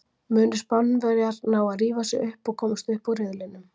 Munu Spánverjar ná að rífa sig upp og komast upp úr riðlinum?